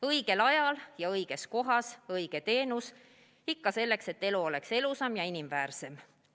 Õigel ajal, õiges kohas ja õige teenus, ikka selleks, et elu oleks ilusam ja inimväärsem.